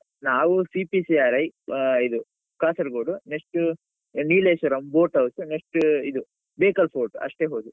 ನಾವು CPCRI ಆ ಇದು Kasaragod next Nileshwaram, boat house next ಇದು Bekal fort ಅಷ್ಟೇ ಹೋದದ್ದು.